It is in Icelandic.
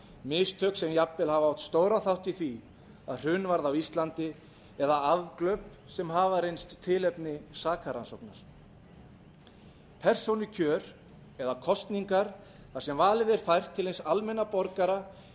mistök sem jafnvel hafa átt stóran þátt í því að hrun varð á íslandi eða afglöp sem hafa reynst tilefni sakarrannsóknar persónukjör eða kosningar þar sem valið er fært til hins almenna borgara er